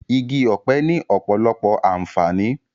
Igi ọ̀pẹ ni ọ̀pọ̀lọpọ̀ àǹfààní